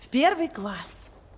в первый класс